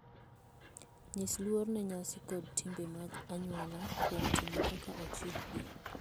Nyis luor ne nyasi koda timbe mag anyuola kuom timo kaka ochikgi.